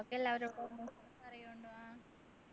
ഒക്കെ എല്ലാരോടും പറയോ